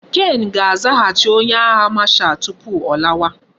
Ken ga azaghachi onye agha marshal tupu o lawa